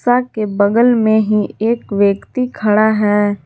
आपके बगल में ही एक व्यक्ति खड़ा है।